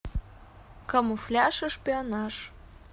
камуфляж и шпионаж